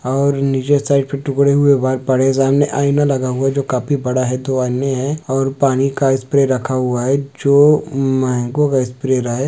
और नीचे साइड पर टुकड़े हुए बाल पड़े सामने आईना लगा हुआ जो काफी बड़ा है दो आईने है और पानी का स्प्रे रखा हुआ है जो मैंगो का स्प्रे